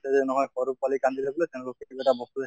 যে নহয় সৰু পোৱালী কান্দিলে বুলে তেওঁলোকক এটা বস্তু